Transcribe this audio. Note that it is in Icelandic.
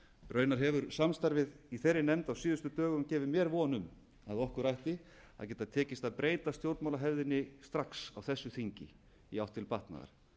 raunar hefur samstarfið í þeirri nefnd gefið mér von um að okkur ætti að geta tekist að breyta stjórnmálahefðinni strax á þessu þingi í átt til batnaðar